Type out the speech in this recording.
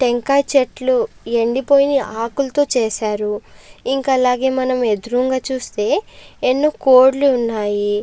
టెంకాయ చెట్లు ఎండిపోయి ఆకులతో చేశారు ఇంకా అలాగే మనం ఎదురుంగా చూస్తే ఎన్ని కోడిల్లు ఉన్నాయి.